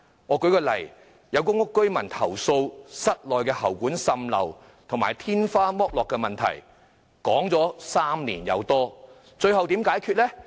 我舉一個例子，有公屋居民投訴室內喉管滲漏及天花板剝落的問題長達3年多，最後問題如何解決呢？